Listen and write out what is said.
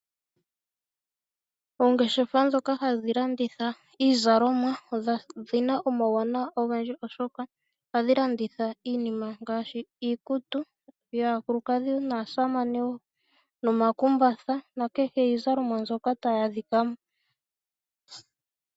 Ongeshefa ndhoka hadhi landitha iizalomwa odhina omauwanawa molwaashoka ohadhi landitha iinima ngaashi iikutu yaakulukadhi naasamane ,omakumbatha niizalomwa yokudhi kehe.